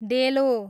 डेलो